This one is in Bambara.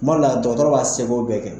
Kuma dɔla dɔnkɔrɔba' seko bɛɛ kɛ.